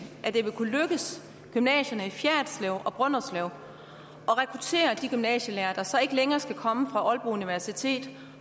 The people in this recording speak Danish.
at det vil kunne lykkes gymnasierne i fjerritslev og brønderslev at rekruttere de gymnasielærere der så ikke længere skal komme fra aalborg universitet